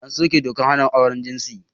An soke dokar hana auren jinsi.